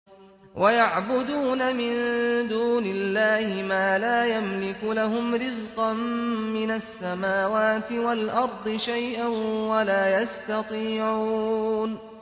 وَيَعْبُدُونَ مِن دُونِ اللَّهِ مَا لَا يَمْلِكُ لَهُمْ رِزْقًا مِّنَ السَّمَاوَاتِ وَالْأَرْضِ شَيْئًا وَلَا يَسْتَطِيعُونَ